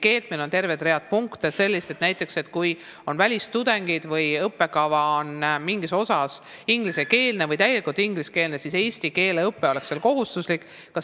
Meil on siin terve rida punkte näiteks selle kohta, kui meil on välistudengeid, kui õppekava on osaliselt või täielikult ingliskeelne, et seal oleks siis ka kohustuslik eesti keele õpe.